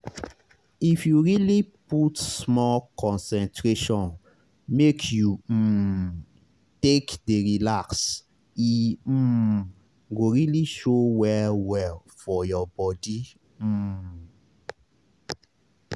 if you really put small concentration make you um take dey relax e um go really show well well for your body um